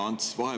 Hea Ants!